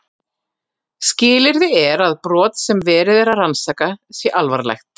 Skilyrði er að brot sem verið er að rannsaka sé alvarlegt.